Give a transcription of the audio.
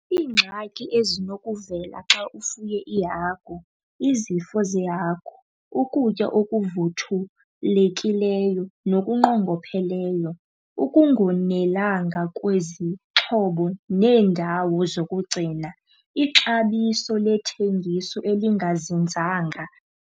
Iingxaki ezinokuvela xa ufuye iihagu, izifo zehagu, ukutya okuvuthulekileyo nokungqongopheleyo, ukungonelanga kwezixhobo neendawo zokugcina, ixabiso lethengiso elingazinzanga.